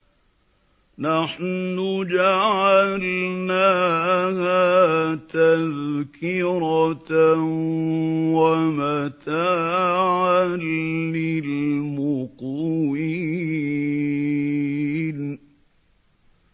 نَحْنُ جَعَلْنَاهَا تَذْكِرَةً وَمَتَاعًا لِّلْمُقْوِينَ